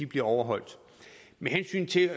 bliver overholdt med hensyn til